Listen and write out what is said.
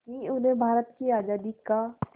कि उन्हें भारत की आज़ादी का